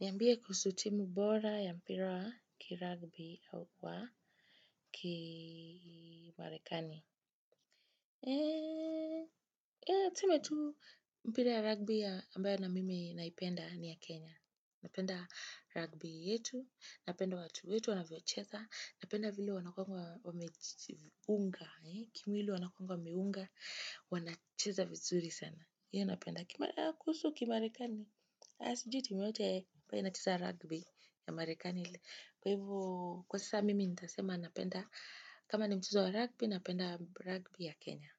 Niambie kuhusu timu bora ya mpira wa kirugby au wa kimarekani. Ya tuseme tu mpira ya rugby ambayo na mimi naipenda ni ya Kenya. Napenda ragbi yetu, napenda watu wetu wanavyo chesa, napenda vile wanakuwanga wameunga, kimwili wanakuwanga wameunga, wanacheza vizuri sana. Ndiyo napenda kuhusu kimarekani. Sijui timu yote ambayo inacheza rugby ya marekani. Kwa hivo, kwa sasa mimi nitasema napenda. Kama ni mchezo wa rugby, napenda rugby ya Kenya.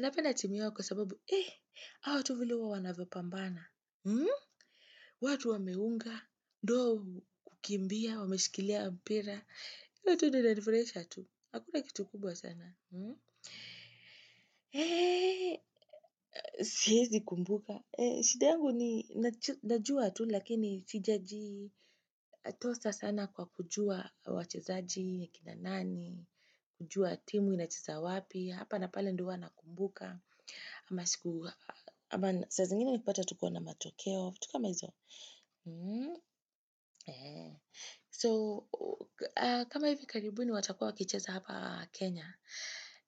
Napenda timu hiyo kwa sababu, eh, hao tu vile huwa wanavyopambana. Watu wameunga, ndio hao hukimbia, wameshikilia, mpira. Yote yananifurahisha tu. Hakuna kitu kubwa sana. Eh, siezi kumbuka. Shida yangu ni najua tu lakini siijaji toza sana kwa kujua wachezaji, ni kina nani, kujua timu inacheza wapi, hapa na pale ndio huwa na kumbuka, ama sikuwa ama saa zingine nikupata tu kuwa na matokeo, vittu kama hizo. So, kama hivi karibuni watakuwa wakicheza hapa Kenya,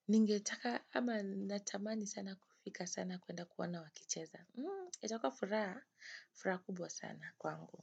ningetaka ama natamani sana kufika sana kuenda kuona wakicheza. Itakuwa furaha furaha kubwa sana kwangu.